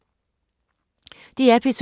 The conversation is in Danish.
DR P2